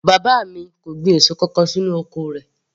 Bàbá mi kò gbin èso kankan sínú oko rẹ̀